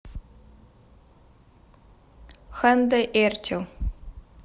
ханде эрчел